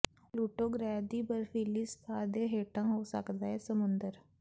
Pluto ਗ੍ਰਹਿ ਦੀ ਬਰਫੀਲੀ ਸਤ੍ਹਾ ਦੇ ਹੇਠਾਂ ਹੋ ਸਕਦਾ ਹੈ ਸਮੁੰਦਰ